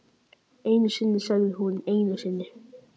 Einu sinni sagði hún, einu sinni.